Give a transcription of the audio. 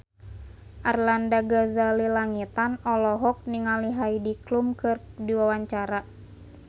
Arlanda Ghazali Langitan olohok ningali Heidi Klum keur diwawancara